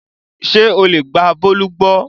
Ṣé o lè gba Bólú gbọ́?